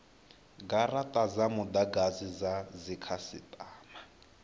garata dza mudagasi dza dzikhasitama